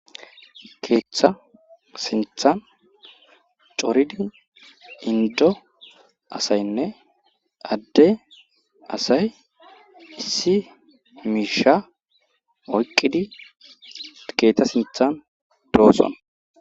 keeththa sinthan coridi indo asaynne adde asay issi miisha oyqqidi keeththa sinthan dooson